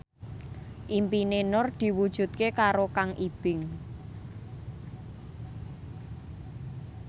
impine Nur diwujudke karo Kang Ibing